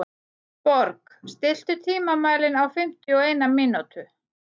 Borg, stilltu tímamælinn á fimmtíu og eina mínútur.